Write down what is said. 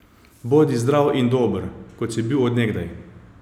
Bodi zdrav in dober, kot si bil od nekdaj!